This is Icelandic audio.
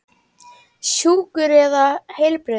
Sjúkur eða heilbrigður?